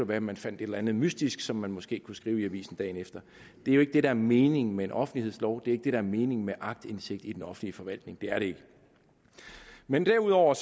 være at man fandt et eller andet mystisk som man måske kunne skrive i avisen dagen efter det er ikke det der er meningen med en offentlighedslov det er der er meningen med aktindsigt i den offentlige forvaltning det er det ikke men derudover